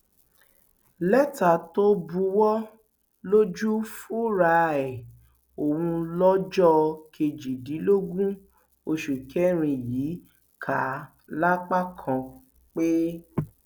lẹtà tó buwọ lù fúnra ẹ ọhún lọjọ kejìdínlógún oṣù kẹrin yìí kà lápá kan pé